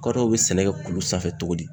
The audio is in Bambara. Kadɔw bɛ sɛnɛ kɛ kulu sanfɛ cogo di?